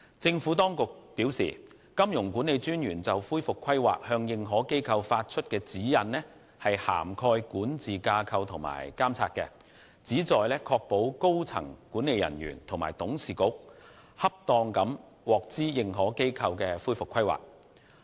政府當局表示，金融管理專員就恢復規劃向認可機構發出的指引涵蓋管治架構及監察，旨在確保高層管理人員及董事局恰當地獲知認可機構的恢復規劃。